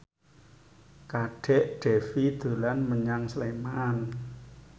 Kadek Devi dolan menyang Sleman